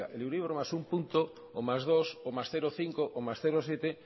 oiga el euribor más un punto o más dos o más cero coma cinco o más cero coma siete